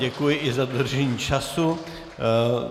Děkuji i za dodržení času.